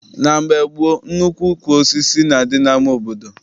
Na mgbe gboo, nnukwu ukwu osisi na-adị n'ama obodo.